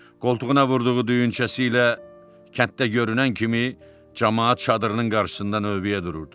Qoltuğuna vurduğu düyünçəsi ilə kənddə görünən kimi camaat çadırının qarşısında növbəyə dururdu.